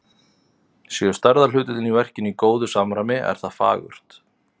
Séu stærðarhlutföllin í verkinu í góðu samræmi, er það fagurt.